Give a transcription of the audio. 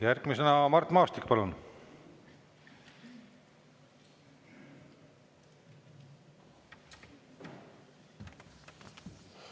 Järgmisena Mart Maastik, palun!